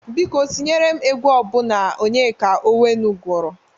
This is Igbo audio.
Biko tiere m egwu ọbụna Onyeka Ọnwenu gụrụ!